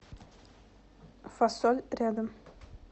фасоль рядом